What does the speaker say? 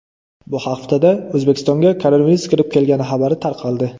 Bu haftada O‘zbekistonga koronavirus kirib kelgani xabari tarqaldi.